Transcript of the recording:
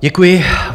Děkuji.